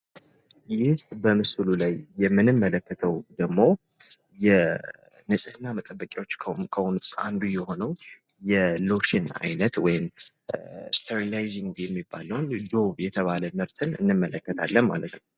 ይህ በምስሉ ላይ የምንመለከተው ደሞ የንጽህና መጠበቂያዎች ዉስጥ አንዱ የሆነውን የሎሽን አይነት ወይም ስትራናይዚንግ ዶቭ የተባለዉን እንመለከታለን ማለት ነው።